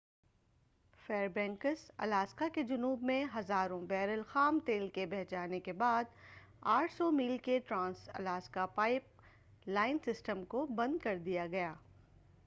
فیر banks Alaska کے جنوب میں ہزاروں بیرل خام تیل کے بہہ جانے کے بعد 800 میل کے trans Alaska pipeline system کو بند کر دیا گیا